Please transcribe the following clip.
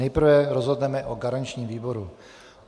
Nejprve rozhodneme o garančním výboru.